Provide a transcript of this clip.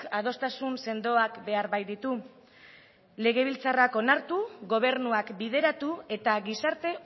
adostasun sendoak behar baititu legebiltzarrak onartu gobernuak bideratu eta gizarte